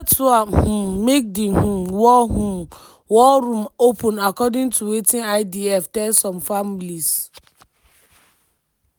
dat one um make di um war um war room open according to wetin idf tell some families.